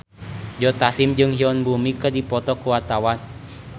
Joe Taslim jeung Yoon Bomi keur dipoto ku wartawan